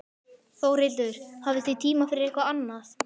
Þórhildur: Hafið þið tíma fyrir eitthvað annað?